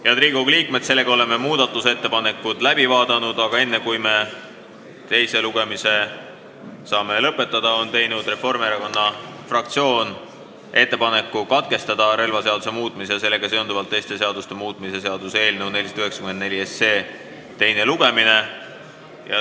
Head Riigikogu liikmed, oleme muudatusettepanekud läbi vaadanud, aga Reformierakonna fraktsioon on teinud ettepaneku katkestada relvaseaduse muutmise ja sellega seonduvalt teiste seaduste muutmise seaduse eelnõu 494 teine lugemine.